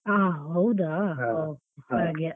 ಹಾ ಹೌದಾ .